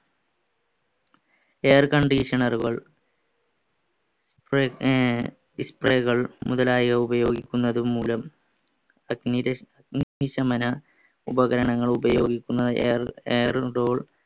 air conditioner കൾ മുതലായ ഉപയോഗിക്കുന്നതുംമൂലം അഗ്നിക്ഷമന ഉപകരണങ്ങൾ ഉപയോഗിക്കുന്നത്